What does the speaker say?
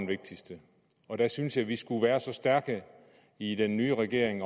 vigtigste og der synes jeg at vi skulle være så stærke i den nye regering